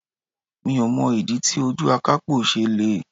Mi ò mọ̀ ìdí tí ojú akapo ṣe le.